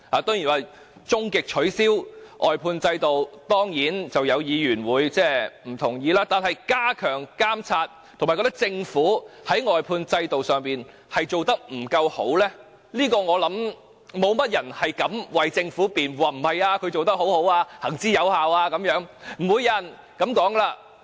對於終極取消外判制度，當然會有議員不同意，但對於加強監察，以及認為政府在外判制度上做得不完善，我相信沒有人敢為政府辯護，說政府做得很好及制度行之有效，不會有人這樣說的了。